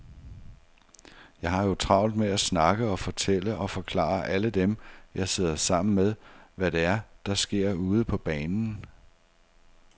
Jeg har jo travlt med at snakke og fortælle og forklare alle dem, jeg sidder sammen med, hvad det er, der sker ude på banen.